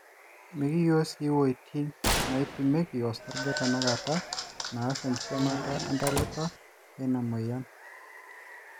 mekiyilo sii woitin naapimieki osarge tanakata naas enkipimata entalipa eina moyian